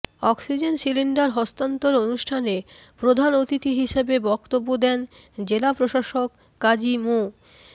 oxygen cylinder হস্তান্তর অনুষ্ঠানে প্রধান অতিথি হিসেবে বক্তব্য দেন জেলা প্রশাসক কাজী মো